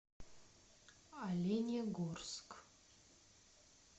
оленегорск